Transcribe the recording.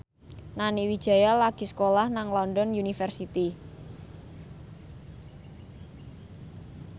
Nani Wijaya lagi sekolah nang London University